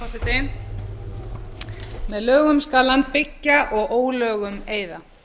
forseti með lögum skal land byggja og ólögum eyða